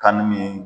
Kanu min